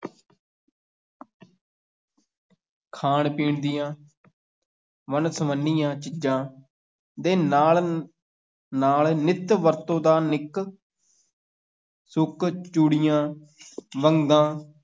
ਖਾਣ-ਪੀਣ ਦੀਆਂ ਵੰਨ- ਸਵੰਨੀਆਂ ਚੀਜ਼ਾਂ ਦੇ ਨਾਲ ਨਾਲ ਨਿੱਤ ਵਰਤੋਂ ਦਾ ਨਿੱਕ ਸੁੱਕ, ਚੂੜੀਆਂ ਵੰਗਾਂ,